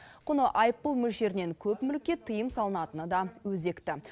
құны айыппұл мөлшерінен көп мүлікке тыйым салынатыны да өзекті